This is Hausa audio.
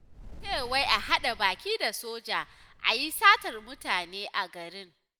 A ce wai a haɗa baki da soja a yi satar mutane a garin